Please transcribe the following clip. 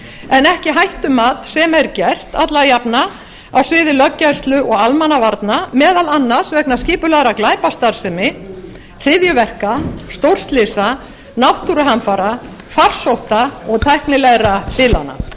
en ekki hættumat sem er gert alla vegna á sviði löggæslu og almannavarna meðal annars vegna skipulagðrar glæpastarfsemi hryðjuverka stórslysa náttúruhamfara farsótta og tæknilegra bilana